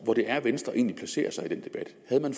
hvor det er venstre egentlig placerer sig i den debat havde man